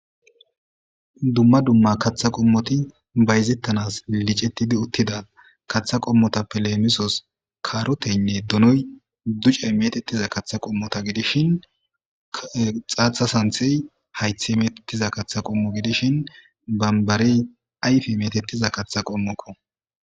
Dumma dumma kaththa qommoti bayzettanas licetidi uttida kaththa qommota pilemisos kaaroteynne dunoy ducey metettiza kaththa qommota gidishin xaatha santhey haythe metettiza kaththa qommo gidishin bambarey ayfe metettiza katha qommokko.